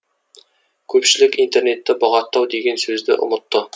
көпшілік интернетті бұғаттау деген сөзді ұмытты